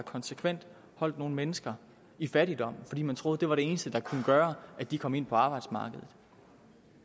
konsekvent holdt nogle mennesker i fattigdom fordi man troede det var det eneste der kunne gøre at de kom ind på arbejdsmarkedet